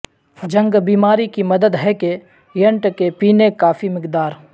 جنگ بیماری کی مدد ہے کہ ینٹ کے پینے کافی مقدار